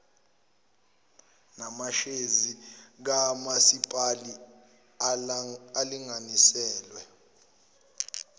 namashezi kamasipalati alinganiselwe